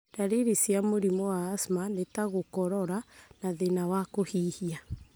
Dariri cia mũrimũ wa asthma nĩ ta gũkorora na thĩna wa kũhihia.